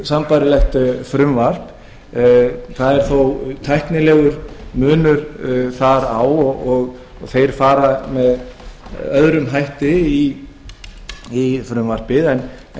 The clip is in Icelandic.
sambærilegt frumvarp það er þó tæknilegur munur þar á og þeir fara með öðrum hætti í frumvarpið en